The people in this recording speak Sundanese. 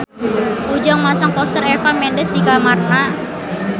Ujang masang poster Eva Mendes di kamarna